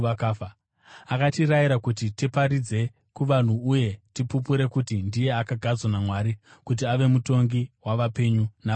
Akatirayira kuti tiparidze kuvanhu uye tipupure kuti ndiye akagadzwa naMwari kuti ave mutongi wavapenyu navakafa.